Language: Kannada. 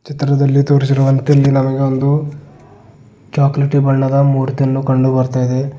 ಚಿತ್ರದಲ್ಲಿ ತೋರಿಸಿರುವಂತೆ ಇಲ್ಲಿ ನಮಗೆ ಒಂದು ಚಾಕಲೇಟಿ ಬಣ್ಣದ ಮೂರ್ತಿಯನ್ನು ಕಂಡು ಬರ್ತಾ ಇದೆ.